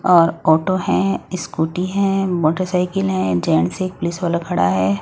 और ऑटो है स्कूटी है मोटरसाइकिल है जेन्ट्स एक पुलिस वाला खड़ा है।